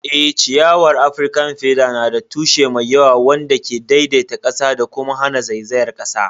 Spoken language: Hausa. Eh, ciyawar Afirkan feather na da tushe mai yawa wanda ke daidaita ƙasa da kuma hana zaizayar ƙasa.